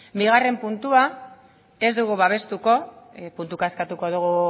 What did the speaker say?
bigarren puntua ez dugu babestuko puntuka eskatuko dugu